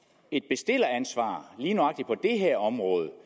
et bestilleransvar lige nøjagtig på det her område